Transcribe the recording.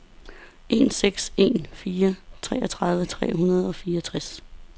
en seks en fire treogtredive tre hundrede og fireogtres